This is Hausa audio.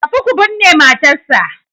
Tafi ku binne matarsa